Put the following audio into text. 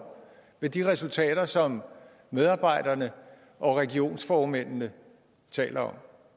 med de resultater som medarbejderne og regionsformændene taler om